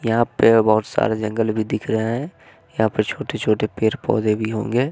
यहां पे बहुत सारे जंगल भी दिख रहे है यहां पे छोटे-छोटे पेड़-पौधे भी होंगे।